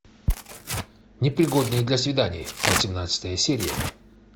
непригодные для свиданий восемнадцатая серия